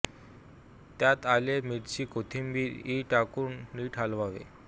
त्यात आले मिरची कोथिंबीर इ टाकून नीट हलवावे